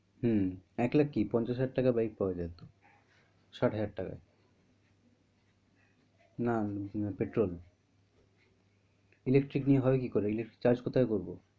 হম এক লাখ কি পঞ্চাশ হাজার টাকায় bike পাওয়া যায় তো, ষাট হাজার টাকায় না petrol electric নিয়ে হবে কি করে electric নিয়ে charge কি করে করবো?